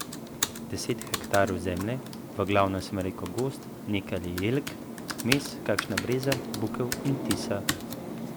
Deset hektarjev zemlje, v glavnem smrekov gozd, nekaj je jelk, vmes kakšna breza, bukev in tisa.